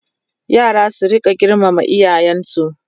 yara su rinka girmama iyayensu